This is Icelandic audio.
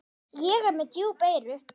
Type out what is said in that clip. Ég er með djúp eyru.